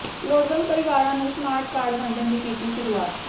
ਲੋੜਵੰਦ ਪਰਿਵਾਰਾਂ ਨੂੰ ਸਮਾਰਟ ਕਾਰਡ ਵੰਡਣ ਦੀ ਕੀਤੀ ਸ਼ੁਰੂਆਤ